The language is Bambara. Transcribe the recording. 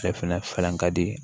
Ale fɛnɛ ka di